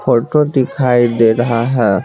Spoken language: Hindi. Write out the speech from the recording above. फोटो दिखाई दे रहा है।